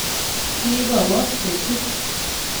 Kikakowo Betty